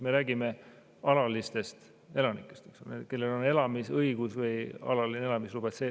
Me räägime alalistest elanikest, eks ole, kellel on siin elamisõigus või alaline elamisluba.